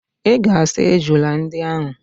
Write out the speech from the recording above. Ị ga-asa ejula ndị ahụ!